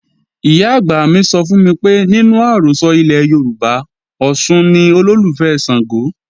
Ìyá-àgbà mi sọ fún mi pé nínú àrọ́sọ ilẹ̀ Yorùbá, Ọ̀ṣun ni olólùfẹ́ Ṣàngó